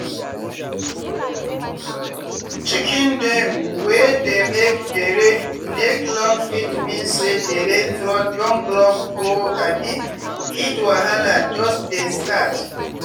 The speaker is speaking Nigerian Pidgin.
chicken dem wey dey make dere neck long fit mean say dere throat don block or um heat wahala jus dey start.